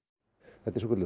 þetta er svokölluð